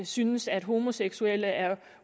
synes at homoseksuelle er